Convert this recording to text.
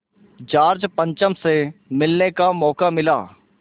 George पंचम से मिलने का मौक़ा मिला